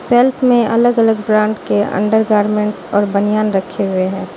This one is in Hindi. सेल्फ में अलग-अलग ब्रांड के अंडरगारमेंट्स और बनियान रखे हुए हैं।